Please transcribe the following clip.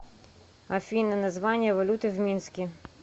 афина название валюты в минске